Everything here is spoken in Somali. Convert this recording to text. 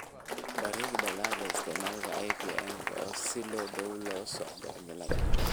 Wareeg dalagga, isticmaal IPM, oo si dhow ula soco cimilada."